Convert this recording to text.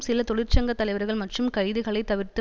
சில தொழிற்சங்கத்தலைவர்கள் மற்றும் கைதுகளை தவிர்த்து